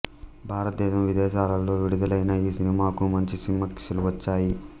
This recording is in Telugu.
భారతదేశం విదేశాలలో విడుదలైన ఈ సినిమాకు మంచి సమీక్షలు వచ్చాయి